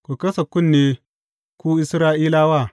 Ku kasa kunne, ku Isra’ilawa!